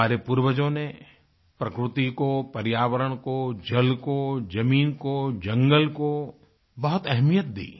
हमारे पूर्वजो ने प्रकृति को पर्यावरण को जल को जमीन को जंगल कोबहुत अहमियत दी